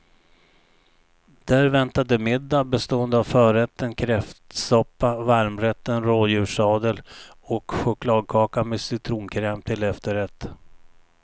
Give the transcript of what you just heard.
Där väntade middag bestående av förrätten kräftsoppa, varmrätten rådjurssadel och chokladkaka med citronkräm till efterrätt.